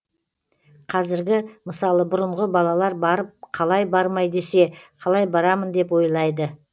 қазіргі мысалы бұрынғы балалар барып қалай бармай десе қалай барамын деп ойлайды